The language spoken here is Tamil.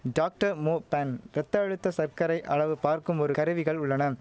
டாக்டர் மோ பேன் ரத்த அழுத்த சர்க்கரை அளவு பார்க்கும் ஒரு கருவிகள் உள்ளனம்